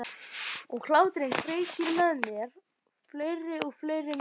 Og hláturinn kveikir með mér fleiri og fleiri myndir.